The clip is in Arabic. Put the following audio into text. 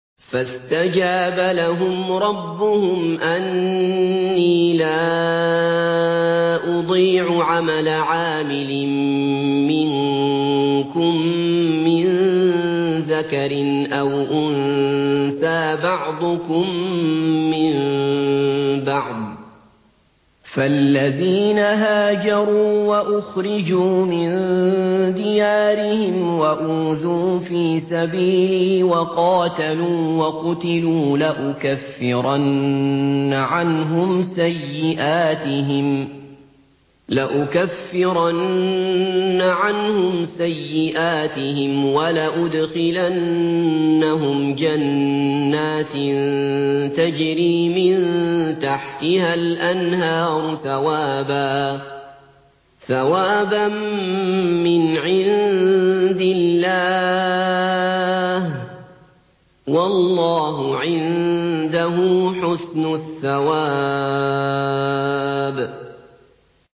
فَاسْتَجَابَ لَهُمْ رَبُّهُمْ أَنِّي لَا أُضِيعُ عَمَلَ عَامِلٍ مِّنكُم مِّن ذَكَرٍ أَوْ أُنثَىٰ ۖ بَعْضُكُم مِّن بَعْضٍ ۖ فَالَّذِينَ هَاجَرُوا وَأُخْرِجُوا مِن دِيَارِهِمْ وَأُوذُوا فِي سَبِيلِي وَقَاتَلُوا وَقُتِلُوا لَأُكَفِّرَنَّ عَنْهُمْ سَيِّئَاتِهِمْ وَلَأُدْخِلَنَّهُمْ جَنَّاتٍ تَجْرِي مِن تَحْتِهَا الْأَنْهَارُ ثَوَابًا مِّنْ عِندِ اللَّهِ ۗ وَاللَّهُ عِندَهُ حُسْنُ الثَّوَابِ